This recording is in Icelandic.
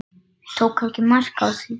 Tók ekki mark á því.